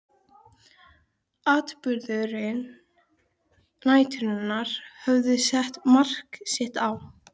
Atburðir næturinnar höfðu sett mark sitt á